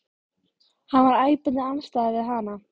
Hann var æpandi andstæða við hana.